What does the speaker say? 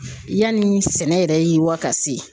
Yanni sɛnɛ yɛrɛ yiriwa ka se